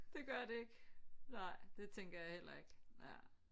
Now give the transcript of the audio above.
Det gør det ikke nej det tænker jeg heller ikke ja